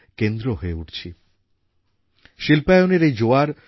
doctor Ambedkar স্বপ্ন দেখেছিলেন ভারত এক সময়ে শ্রমশিল্পের এক শক্তিশালী কেন্দ্রবিন্দু হবে